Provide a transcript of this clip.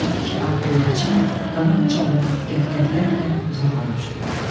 İki ağ göyərçin qanad çalıb qəhqəhlərlə uzaqlara uçdular.